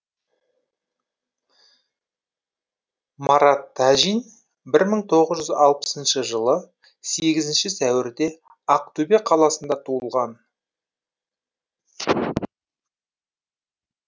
марат тәжин бір мың тоғыз жүз алпысыншы жылы сегізінші сәуірде ақтөбе қаласында туған